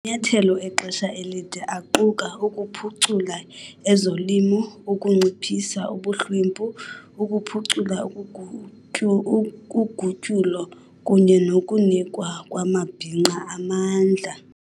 Amanyathelo exesha elide aquka- ukuphucula ezolimo, ukunciphisa ubuhlwempu, ukuphucula ugutyulo, kunye nokunikwa kwamabhinqa amandla.